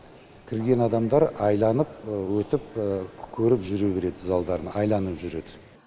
кірген адамдар айланып өтіп көріп жүре береді залдарын айланып жүреді